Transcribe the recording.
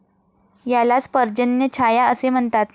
यालाच पर्जन्यछाया असे म्हणतात.